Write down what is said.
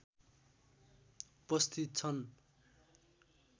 उपस्थित छन्